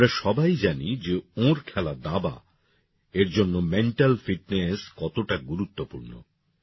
আমরা সবাই জানি যে ওঁর খেলা দাবা এর জন্য মেন্টাল ফিটনেস কতটা গুরুত্বপূর্ণ